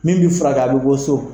Min bɛ furakɛ a bɛ bɔ so.